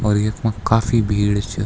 और यखमा काफी भीड़ छ।